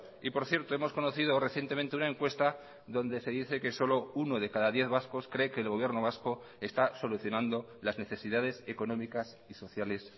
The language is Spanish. y por cierto hemos conocido recientemente una encuesta donde se dice que solo uno de cada diez vascos cree que el gobierno vasco está solucionando las necesidades económicas y sociales